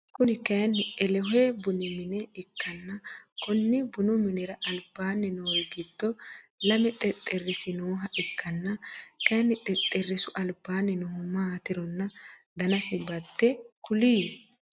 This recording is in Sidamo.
Kuni kayiinni elohe bunu mine ikkanna Konni bunu minnira albaanni noori gido lame xexerisi nooha ikkanna kaayiin xexerisu albaanni noohu maatironna danasi badde kuli ?